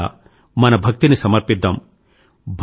వారి పట్ల మన భక్తిని సమర్పిద్దాం